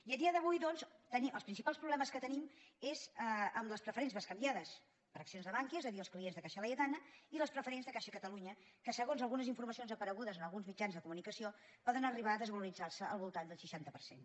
i a dia d’avui doncs els principals problemes que tenim és amb les preferents bescanviades per accions de bankia és a dir els clients de caixa laietana i les preferents de caixa catalunya que segons algunes informacions aparegudes en alguns mitjans de comunicació poden arribar a desvaloritzar se al voltant d’un seixanta per cent